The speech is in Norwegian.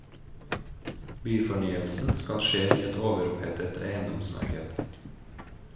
Byfornyelsen skal skje i et overopphetet eiendomsmarked.